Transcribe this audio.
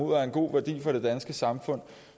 og en god værdi for det danske samfund